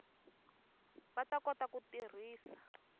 va ta kota ku tirhisa